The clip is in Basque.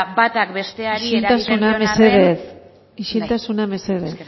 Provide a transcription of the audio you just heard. batak besteari isiltasuna mesedez bai eskerrik asko